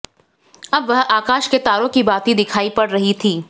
अब वह आकाश के तारों की भांति दिखाई पड़ रह थीं